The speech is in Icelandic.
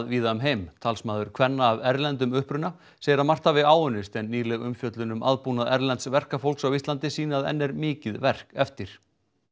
víða um heim talsmaður kvenna af erlendum uppruna segir margt hafa áunnist en nýleg umfjöllun um aðbúnað erlends verkafólks á Íslandi sýni að enn er mikið verk eftir